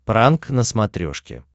пранк на смотрешке